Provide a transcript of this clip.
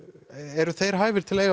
eru þeir hæfir til að eiga